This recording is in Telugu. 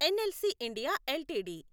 NLC India LTD